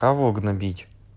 кого гнобить